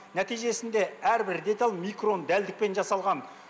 нәтижесінде әрбір деталь микрон дәлдікпен жасалған